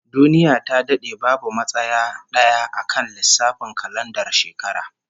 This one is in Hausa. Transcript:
Duniya ta dade babu matsaya d'aya akan lissafin kalandar shekara